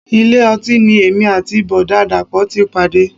Ilé ọtí ni èmi àti Bọ̀dá dàpọ̀ ti pàdé.